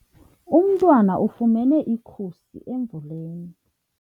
Umntwana ufumene ikhusi emvuleni.